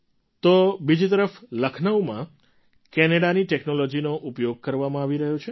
તો બીજી તરફ લખનઉમાં કેનેડાની ટૅક્નૉલૉજીનો ઉપયોગ કરવામાં આવી રહ્યો છે